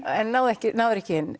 en náði ekki náði ekki inn